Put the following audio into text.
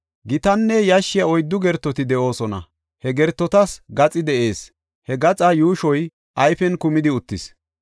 Gitanne yashshiya oyddu gertoti de7oosona; he gertotas gaxi de7ees; he gaxaa yuushoy ayfen kumidi uttis.